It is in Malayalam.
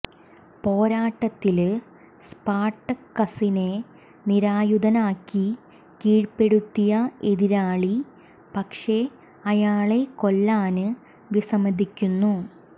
പോരാട്ടത്തില് സ്പാര്ട്ടക്കസിനെ നിരായുധനാക്കി കീഴ്പ്പെടുത്തിയ എതിരാളി പക്ഷേ അയാളെ കൊല്ലാന് വിസമ്മതിക്കുന്നു